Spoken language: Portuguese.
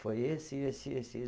Foi esse, esse, esse